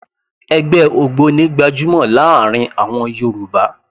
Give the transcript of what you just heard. Ẹgbẹ́ ògbóni gbajúmọ̀ láàrin àwọn Yorùbá